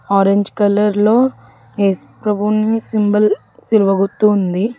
Orange కలర్లో ఏసుప్రభుని symbol సిలువ గుర్తు ఉంది.